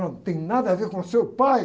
Não tem nada a ver com seu pai.